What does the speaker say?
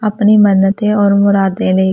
अपनी मन्नतें और मुरादें लें।